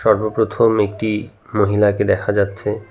সর্বপ্রথম একটি মহিলাকে দেখা যাচ্ছে।